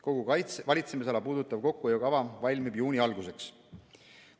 Kogu valitsemisala puudutav kokkuhoiukava valmib juuni alguseks.